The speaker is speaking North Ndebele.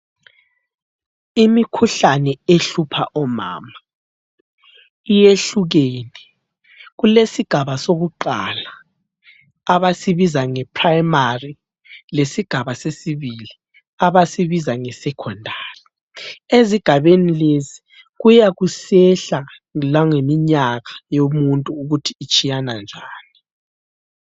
Imikhuhlane ehlupha omama iyehlukene. Kulesigaba sokuqala abasibiza nge primary, lesigaba sesibili abasibiza nge secondary. Ezigabeni lezi kuyakusehla langeminyaka yomuntu ukuthi itshiyananjani.